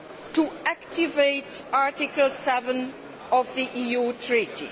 to activate Article 7 of the EU Treaty.